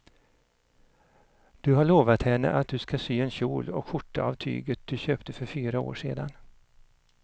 Du har lovat henne att du ska sy en kjol och skjorta av tyget du köpte för fyra år sedan.